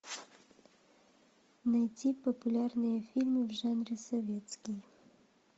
найти популярные фильмы в жанре советский